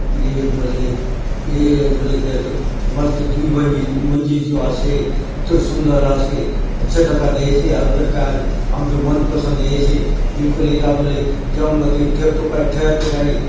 ये बले ये बले मस्त कायतो दूय मंज़िल मंज़िल चो आसे इतरो सुंदर आसे अच्छा दखा देयसे अउर फेर कायतो आमचो मन पसंद एयसे बिलकुल एथा बले जाऊंन भांति थेबतो काजे ठहर तो काजे --